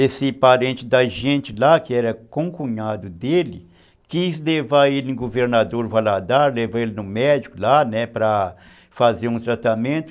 Fazer um tratamento